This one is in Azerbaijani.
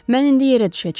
Mən indi yerə düşəcəm.